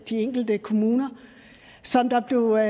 de enkelte kommuner som der blev